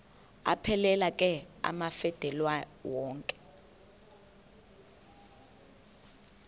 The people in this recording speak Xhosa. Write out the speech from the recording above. aphelela ke amafelandawonye